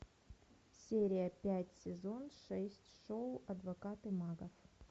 серия пять сезон шесть шоу адвокаты мага